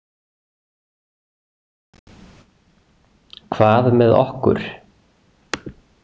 Hvað með okkur?